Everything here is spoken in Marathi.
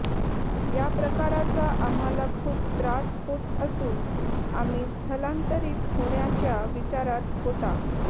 या प्रकाराचा आम्हाला खूप त्रास होत असून आम्ही स्थलांतरित होण्याच्या विचारात होता